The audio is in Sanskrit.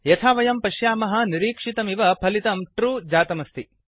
यथा वयं पश्यामः निरिक्षितमिव फलितं ट्रू ट्रू जातमस्ति